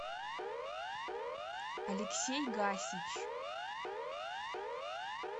алексей гасич